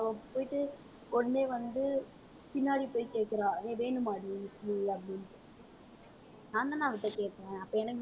அவ போயிட்டு உடனே வந்து பின்னாடி போய் கேக்குறா ஏய் வேணுமாடி இட்லி அப்படின்னுட்டு நான்தானே அவகிட்ட கேட்டேன். அப்ப எனக்குதான அவ கொடுக்கணும்